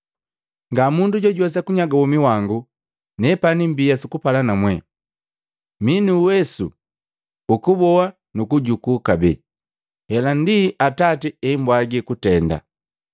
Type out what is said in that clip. Nga mundu jojuwesa kunyaga womi wangu, nepani mbia sukupala namwete. Mii nuuwesu ukuuboa nukuujuku kabee. Hela ndi Atati eambwagi kutenda.”